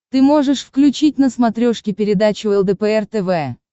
ты можешь включить на смотрешке передачу лдпр тв